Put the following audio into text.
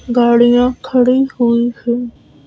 गाड़ियां खड़ी हुई हं --